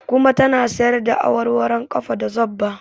Kuma ta na sayarda awarwaron ƙafa da zobba